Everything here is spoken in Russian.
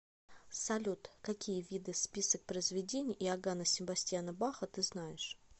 салют какие виды список произведений иоганна себастьяна баха ты знаешь